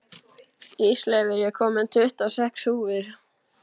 Ísleifur, ég kom með tuttugu og sex húfur!